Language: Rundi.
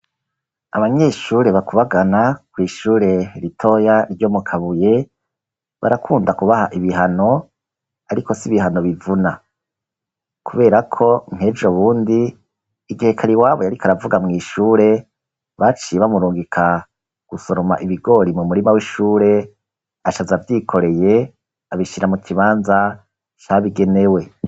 Abanyeshure bakubagana kw'ishure ritoya ryo mu Kabuye barakunda kubaha ibihano, ariko si ibihano bivuna. Kubera ko nk'ejo bundi igihe Kariwabo yariko aravuga mw'shure, baciye bamurungika gusoroma ibigori mu murima w'ishure aca aza avyikoreye abishira mu kibanza cabigenewe.